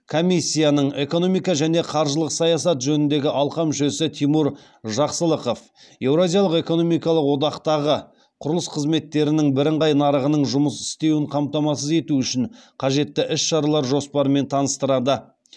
комиссияның экономика және қаржылық саясат жөніндегі алқа мүшесі тимур жақсылықов еуразиялық экономикалық одақтағы құрылыс қызметтерінің бірыңғай нарығының жұмыс істеуін қамтамасыз ету үшін қажетті іс шаралар жоспарымен таныстырады